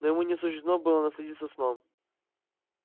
но ему не суждено было насладиться сном